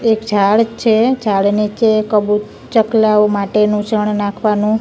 એક જાળ છે જાળ નીચે કબુ ચકલાઓ માટેનું ચણ નાખવાનું--